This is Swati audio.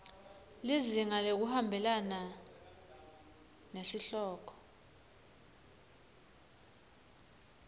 lizinga ngekuhambelana nesihloko